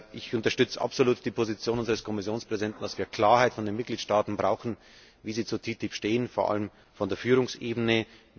Ich unterstütze absolut die Position unseres Kommissionspräsidenten, dass wir Klarheit von den Mitgliedstaaten brauchen, wie sie zu TTIP stehen, vor allen Dingen von der Führungsebene.